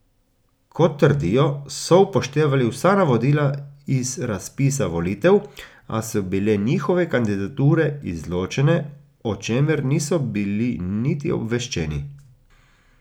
Kot trdijo, so upoštevali vsa navodila iz razpisa volitev, a so bile njihove kandidature izločene, o čemer niso bili niti obveščeni.